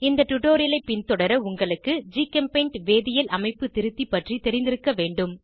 இந்த டுடோரியலை பின்தொடர உங்களுக்கு ஜிகெம்பெய்ண்ட் வேதியியல் அமைப்பு திருத்தி பற்றி தெரிந்திருக்க வேண்டும்